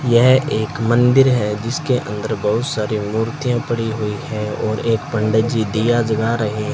यह एक मंदिर है जिसके अंदर बहुत सारी मूर्तियां पड़ी हुई है और एक पंडित जी दिया जला रहे --